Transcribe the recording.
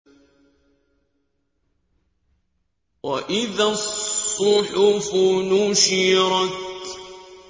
وَإِذَا الصُّحُفُ نُشِرَتْ